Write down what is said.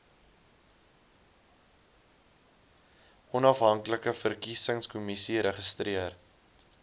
onafhanklike verkiesingskommissie registreer